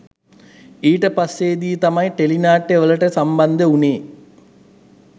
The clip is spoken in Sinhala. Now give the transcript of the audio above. ඊට පස්සේදී තමයි ටෙලිනාට්‍යවලට සම්බන්ධ වුණේ